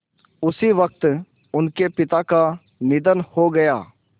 उसी वक़्त उनके पिता का निधन हो गया